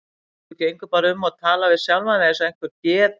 Þú gengur bara um og talar við sjálfa þig eins og einhver geð